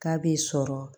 K'a bɛ sɔrɔ